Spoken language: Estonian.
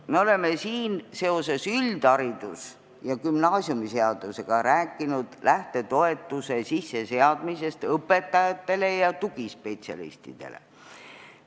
Me oleme siin seoses üldharidus- ja gümnaasiumiseadusega rääkinud lähtetoetuse sisseseadmisest õpetajatele ja tugispetsialistidele.